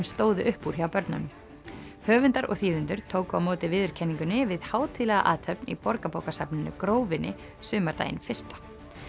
stóðu upp úr hjá börnunum höfundar og þýðendur tóku á móti viðurkenningunni við hátíðlega athöfn í Borgarbókasafninu Grófinni sumardaginn fyrsta